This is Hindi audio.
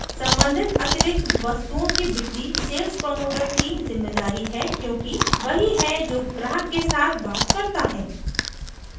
सम्बंधित अतिरिक्त वस्तुओं की बिक्री सेल्स प्रमोटर की जिम्मेदारी है क्योंकि वही है जो ग्राहक के साथ बात करता है